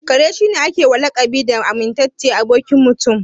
Kare shi ne a ke wa lakabi da amintaccen abokin Mutum.